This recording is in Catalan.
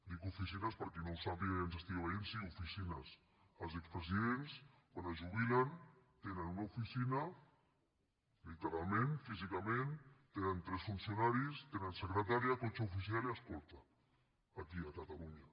dic oficines per a qui no ho sàpiga i ens estigui veient sí oficines els expresidents quan es jubilen tenen una oficina literalment físicament tenen tres funcionaris tenen secretària cotxe oficial i escorta aquí a catalunya